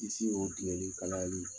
Kisi o tigɛli kalayali